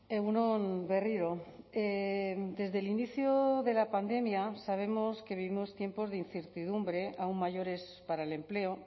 egun on berriro desde el inicio de la pandemia sabemos que vivimos tiempos de incertidumbre aún mayores para el empleo